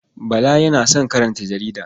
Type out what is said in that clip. Bala yana son karanta jarida.